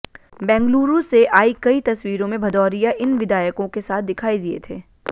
बेंगलुरु से आई कई तस्वीरों में भदौरिया इन विधायकों के साथ दिखाई दिए थे